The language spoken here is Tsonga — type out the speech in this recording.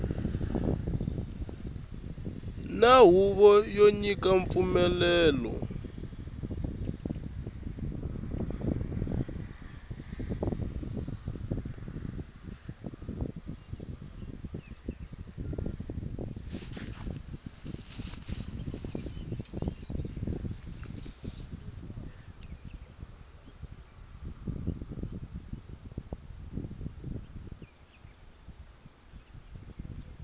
na huvo yo nyika mpfumelelo